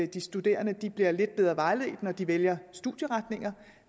de studerende bliver lidt bedre vejledt når de vælger studieretninger